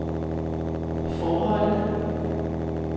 forholdet